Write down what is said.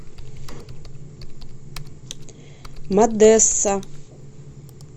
модесса